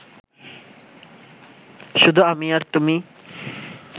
শুধু আমি আর তুমি